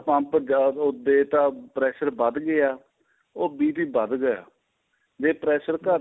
pump ਜਿਆਦਾ ਉਹ ਦੇ ਤਾ pressure ਵੱਧ ਗਿਆ ਉਹ BP ਵੱਧ ਗਿਆ ਜੇ pressure ਘੱਟ ਗਿਆ